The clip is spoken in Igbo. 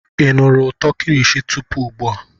Ị nụrụ ụtọ kilishi tupu ugbua?